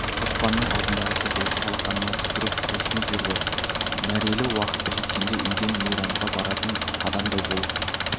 қоспанның аузындағы сөз осы алақаныма түкіріп құлшынып жүрді мәрелі уақыты жеткенде үйден мейрамға баратын адамдай болып